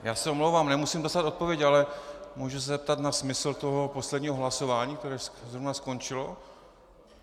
Já se omlouvám, nemusím dostat odpověď, ale mohu se zeptat na smysl toho posledního hlasování, které zrovna skončilo?